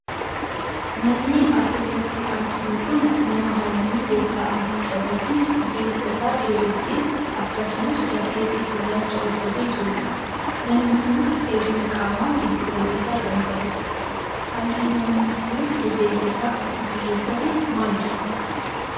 Namni as irratti arginu kun, nama haalluu gogaa adii qabu fi rifeensa isaa dheeresse akkasumas jaakkettii gurraacha uffatee jiruu dha. Namni kun, dheerina qaamaa giddu galeessa kan qabuu dha. Haalli namni kun, rifeensa isaa itti sirreeffate maal jedhama?